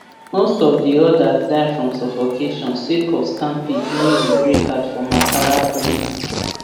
most of di odas die from suffocation sake of stampede during di breakout for makala prison